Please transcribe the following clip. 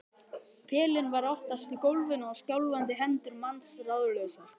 Pelinn var oftast í gólfinu og skjálfandi hendur manns ráðlausar.